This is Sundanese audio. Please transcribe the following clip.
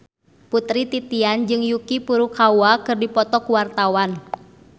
Putri Titian jeung Yuki Furukawa keur dipoto ku wartawan